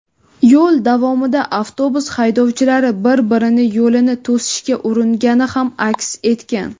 yo‘l davomida avtobus haydovchilari bir-birini yo‘lini to‘sishga uringani ham aks etgan.